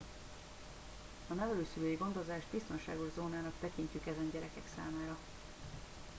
a nevelőszülői gondozást biztonságos zónának tekintjük ezen gyerekek számára